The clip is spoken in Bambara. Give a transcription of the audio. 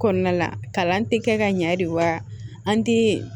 Kɔnɔna la kalan tɛ kɛ ka ɲɛ de wa an tɛ